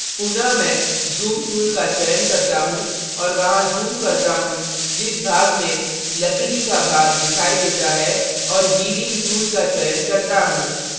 अतः पुनः मैं zoom tool का चयन करता choose और वहां zoom करता choose जिस भाग में लकड़ी का भाग दिखाई देता है और healing tool का चयन करता choose